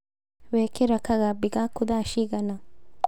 Wekĩra kagambi gaku thaa cigana?